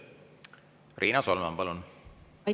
Riina Solman, palun!